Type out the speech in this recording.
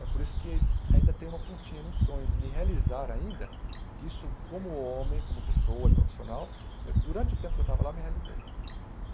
É por isso que ainda tenho uma pontinha no sonho de me realizar ainda, que isso, como homem, como pessoa e profissional, durante o tempo que eu estava lá, me realizei.